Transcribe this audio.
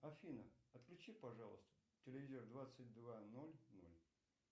афина отключи пожалуйста телевизор в двадцать два ноль ноль